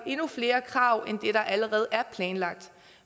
endnu flere krav end dem der allerede er planlagt